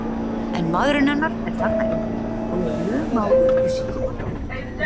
En maðurinn hennar er þarna inni og ég luma á upplýsingum handa honum.